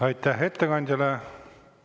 Aitäh ettekandjale!